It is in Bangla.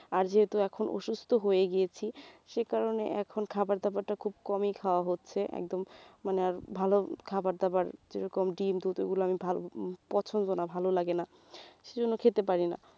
আর যেহেতু এখন অসুস্থ্য হয়ে গিয়েছি সেকারণে এখন খাবার দাবার টা খুব কমই খাওয়া হচ্ছে একদম মানে ভালো খাবার দাবার যেরকম ডিম দুধ এগুলো আমি ভালো পছন্দ না ভালো লাগেনা সে জন্য খেতে পারিনা